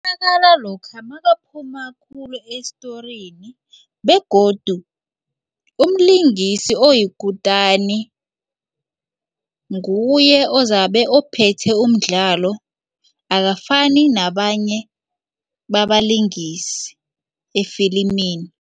Ubonakala lokha makaphuma khulu estorini begodu umlingisi oyikutani nguye ozabe ophethe umdlalo akafani nabanye babalingisi efilimini.